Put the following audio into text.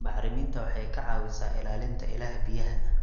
Bacriminta waxay ka caawisaa ilaalinta ilaha biyaha.